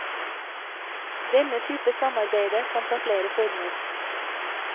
Denne type samarbeide kan ta flere former.